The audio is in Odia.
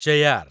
ଚେୟ୍ୟାର୍